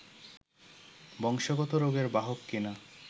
বংশগত রোগের বাহক কি না